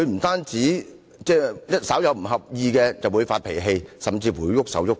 他稍不合意便發脾氣，甚至動手動腳。